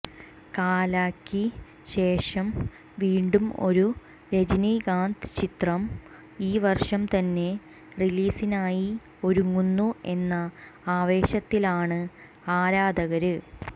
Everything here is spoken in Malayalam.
കാലക്ക് ശേഷം വീണ്ടും ഒരു രജനികാന്ത് ചിത്രം ഈ വര്ഷം തന്നെ റിലീസിനായി ഒരുങ്ങുന്നു എന്ന ആവേശത്തിലാണ് ആരാധകര്